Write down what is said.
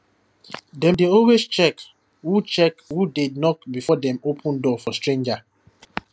dem dey always check who check who dey knock before dem open door for stranger